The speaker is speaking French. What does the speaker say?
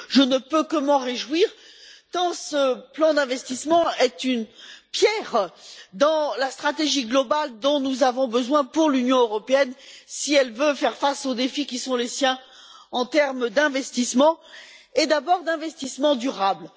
Je ne peux que m'en réjouir, tant ce plan d'investissement est une pierre dans la stratégie globale dont nous avons besoin pour l'Union européenne si elle veut faire face aux défis qui sont les siens en termes d'investissements, et d'abord d'investissements durables.